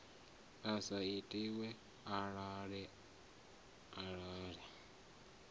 i sa itiwe ale ale